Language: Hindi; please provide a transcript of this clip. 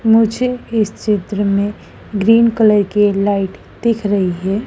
मुझे इस चित्र में ग्रीन कलर के लाइट दिख रही है।